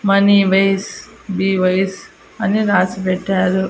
Money wise బివైస్ అని రాసి పెట్టారు.